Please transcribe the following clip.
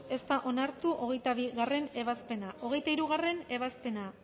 ez da onartu hogeita bigarrena ebazpena hogeita hirugarrena ebazpena